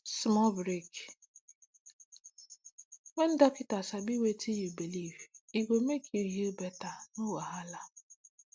small break when docta sabi wetin you believe e go make you heal better no wahala